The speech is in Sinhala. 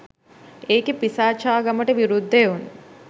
ඒකෙ පිසාචාගමට විරුද්ධ එවුන්